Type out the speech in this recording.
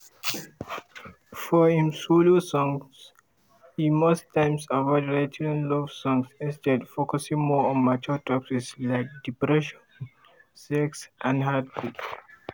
for im solo songs e most times avoid writing love songs instead focusing more on mature topics like depression sex and heartbreak.